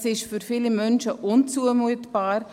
Das ist für viele Menschen unzumutbar.